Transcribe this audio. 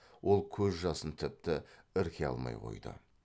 ол көз жасын тіпті ірке алмай қойды